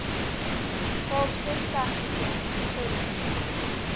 kaapse technikon volle